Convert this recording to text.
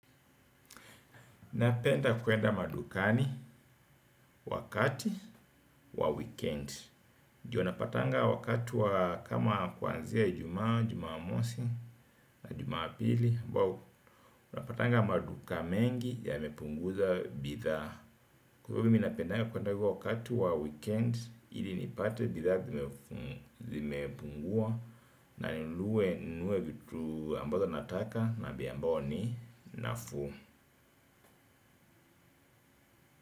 Napenda kuenda madukani wakati wa weekend ndio napatanga wakati wa kama kuanzia ijumaa, jumamosi na jumapili ambao unapatanga maduka mengi yamepunguza bidhaa. Kwa hivo mimi napendanga kuenda huko wakati wa weekend. Ili nipate bidhaa zimepungua na ninunue ninunue vitu ambazo nataka na bei ambao ni nafuu.